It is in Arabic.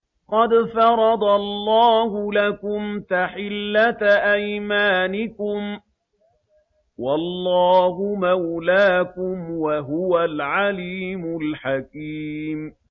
قَدْ فَرَضَ اللَّهُ لَكُمْ تَحِلَّةَ أَيْمَانِكُمْ ۚ وَاللَّهُ مَوْلَاكُمْ ۖ وَهُوَ الْعَلِيمُ الْحَكِيمُ